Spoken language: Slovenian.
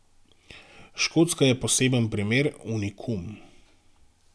Škotska je poseben primer, unikum.